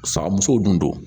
Fa musow dun don